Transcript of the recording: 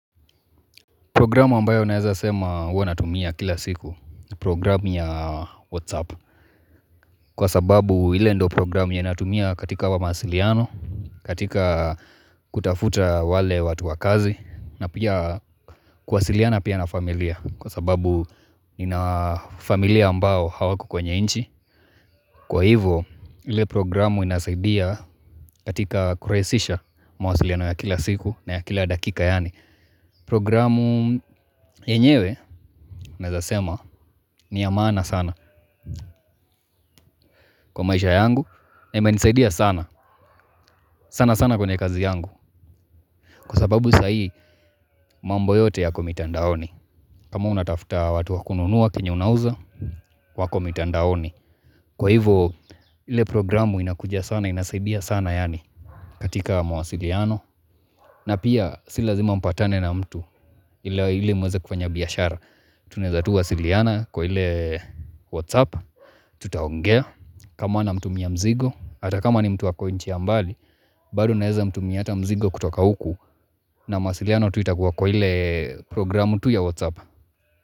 Programu ambayo naeza sema huwa natumia kila siku ni programu ya WhatsApp Kwa sababu ile ndo programu yenye natumia katika wa mahasiliano, katika kutafuta wale watu wakazi na pia kuwasiliana pia na familia kwa sababu nina familia ambao hawako kwenye nchi Kwa hivo ile programu inasaidia katika kurahisisha mahasiliano ya kila siku na ya kila dakika yaani Programu yenyewe, naeza sema, ni ya maana sana kwa maisha yangu na imenisaidia sana, sana sana kwenye kazi yangu Kwa sababu sahii, mambo yote yako mitandaoni kama unatafta watu wakununua, kenye unauza, wako mitandaoni Kwa hivo, ile programu inakuja sana, inasaidia sana yani katika mwasiliano, na pia si lazima mpatane na mtu ile mweze kufanya biyashara Tunaeza tu wasiliana kwa ile whatsapp Tutaongea kama namtumia mzigo Hata kama ni mtu ako nchi ya mbali bado naeza mtumia ata mzigo kutoka uku na mawasiliano tu itakuwa kwa ile programu tu ya Whatsapp.